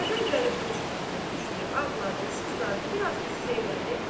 Əvvəl Vəliqulu çox atılıb düşdü, ağladı, sızladı, biraz qüssə elədi.